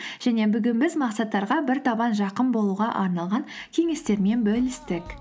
және бүгін біз мақсаттарға бір табан жақын болуға арналған кеңестермен бөлістік